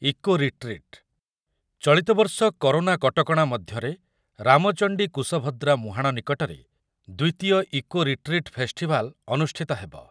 Eco retreat, ଚଳିତ ବର୍ଷ corona କଟକଣା ମଧ୍ୟରେ ରାମଚଣ୍ଡି କୁଶଭଦ୍ରା ମୁହାଣ ନିକଟରେ ଦ୍ୱିତୀୟ ଇକୋ ରିଟ୍ରିଟ୍ ଫେଷ୍ଟିଭାଲ ଅନୁଷ୍ଠିତ ହେବ।